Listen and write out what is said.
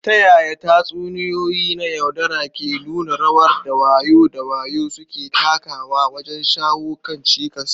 Ta yaya tatsuniyoyi na yaudara ke nuna rawar da wayo da wayo suke takawa wajen shawo kan cikas?